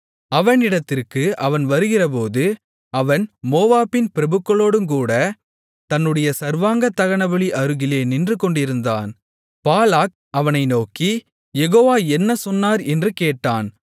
அவனிடத்திற்கு அவன் வருகிறபோது அவன் மோவாபின் பிரபுக்களோடுங்கூடத் தன்னுடைய சர்வாங்கதகனபலி அருகிலே நின்று கொண்டிருந்தான் பாலாக் அவனை நோக்கி யெகோவா என்ன சொன்னார் என்று கேட்டான்